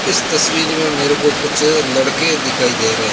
इस तस्वीर में मेरे को कुछ लड़के दिखाई दे रहे--